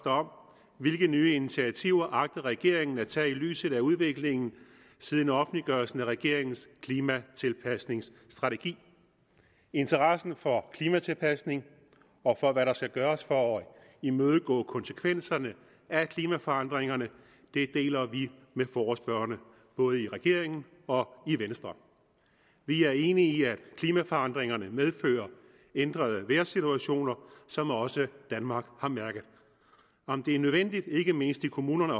om hvilke nye initiativer regeringen agter at tage i lyset af udviklingen siden offentliggørelsen af regeringens klimatilpasningsstrategi interessen for klimatilpasning og for hvad der skal gøres for at imødegå konsekvenserne af klimaforandringerne deler vi med forespørgerne både i regeringen og i venstre vi er enige i at klimaforandringerne medfører ændrede vejrsituationer som også danmark har mærket om det er nødvendigt ikke mindst i kommunerne